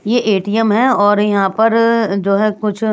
ये ए_टी_एम है और यहाँ पर र र र जो है कुछ--